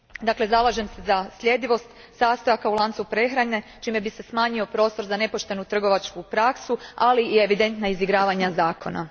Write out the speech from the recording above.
Dakle, zalažem se sa sljedivost sastojaka u lancu prehrane čime bi se smanjio prostor za nepoštenu trgovačku praksu, ali i evidentna izigravanja zakona.